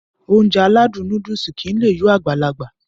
Ounjẹ aládùn nóódùsì kìí lé yó Agbalaga